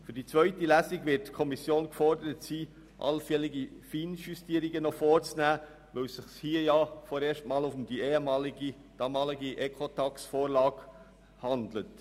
Für die zweite Lesung wird die Kommission gefordert sein, noch allfällige Feinjustierungen vorzunehmen, weil es sich hier vorerst einmal um die damalige Ecotax-Vorlage handelt.